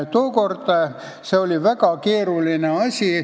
Tookord oli see väga keeruline asi.